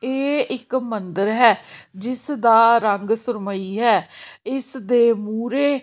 ਇਹ ਇੱਕ ਮੰਦਿਰ ਹੈ ਜਿਸ ਦਾ ਰੰਗ ਸੁਰਮਈ ਹੈ ਇਸ ਦੇ ਮੂਰੇ--